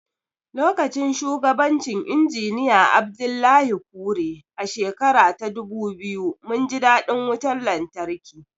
Lokacin shugabancin Injiniya Abdullahi Kure, a shekara ta dubu biyu, mun ji daɗin wutar lantarki.